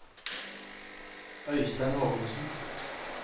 Øistein Hågensen